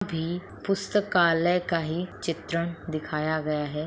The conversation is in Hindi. भी पुष्तकालय का ही चित्रण दिखाया गया हैं।